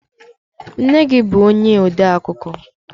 Nne gi bu onye odeakụkọ?